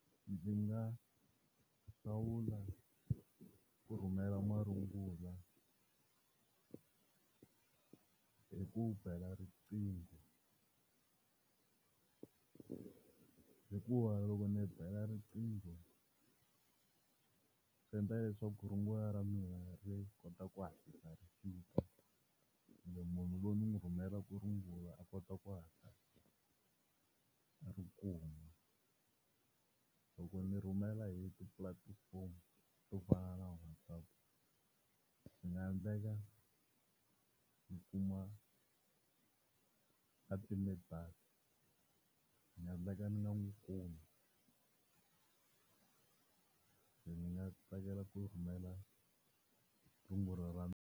Ndzi nga hlawula ku rhumela marungula hi ku bela riqingho hikuva loko ni bela riqingho swi endla leswaku rungula ra mina ri kota ku hatlisa ri fika and munhu loyi ni n'wi rhumelaka rungula a kota ku hatla a ri kuma. Loko ni rhumela hi tipulatifomo to fana na WhatsApp swi nga endleka ni kuma a time data, swi nga endleka ni nga n'wi kumi. Se ndzi nga tsakela ku rhumela rungula ra mina.